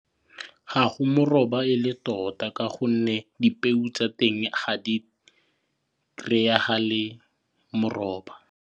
Ga go moroba e le tota ka gonne dipeo tsa teng ga di kry-agale moroba.